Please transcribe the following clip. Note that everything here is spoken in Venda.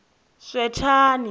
swethani